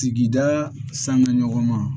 Sigida sanga ɲɔgɔn ma